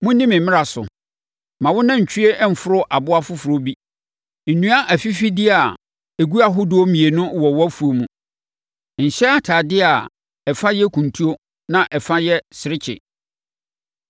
“ ‘Monni me mmara so: “ ‘Mma wo nantwie mforo aboa foforɔ bi. “ ‘Nnua afifideɛ a ɛgu ahodoɔ mmienu wɔ wʼafuo mu. “ ‘Nhyɛ atadeɛ a ɛfa yɛ kuntu na ɛfa nso yɛ serekye.